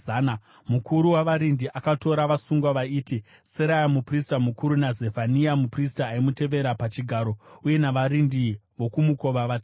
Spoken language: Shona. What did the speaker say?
Mukuru wavarindi akatora vasungwa vaiti, Seraya muprista mukuru, naZefania muprista aimutevera pachigaro uye navarindi vokumukova vatatu.